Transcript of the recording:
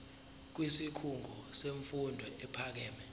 kwisikhungo semfundo ephakeme